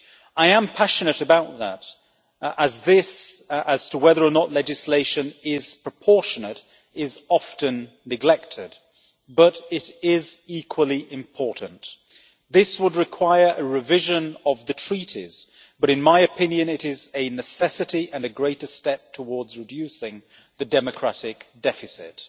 I am passionate about that, as determining whether or not legislation is proportionate is often neglected, but it is equally important. This would require a revision of the Treaties, but in my opinion it is a necessity and a greater step towards reducing the democratic deficit.